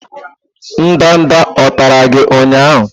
ndanda o tara gi ụnyahụ?